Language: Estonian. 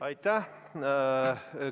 Aitäh!